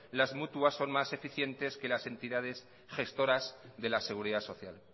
las mutuas son más eficientes que las entidades gestoras de la seguridad social